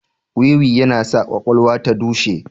Wiwi yana sa kwakwalwa ta dushe